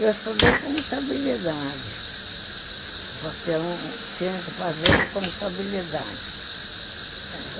Eu estudei contabilidade, porque eu tinha que fazer de contabilidade.